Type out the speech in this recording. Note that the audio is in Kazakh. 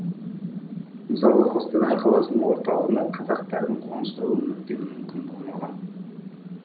мысалы қостанай қаласының орталығына қазақтардың қоныстауы мүлдем мүмкін болмаған